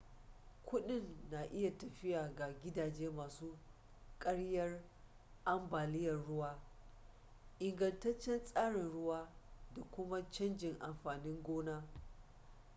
kudin na iya tafiya ga gidaje masu kariyar ambaliyar ruwa ingantaccen tsarin ruwa da kuma canjin amfanin gona